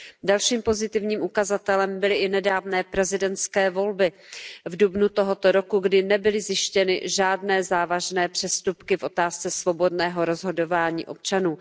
Dalším pozitivním ukazatelem byly i nedávné prezidentské volby v dubnu tohoto roku, kdy nebyly zjištěny žádné závažné přestupky v otázce svobodného rozhodování občanů.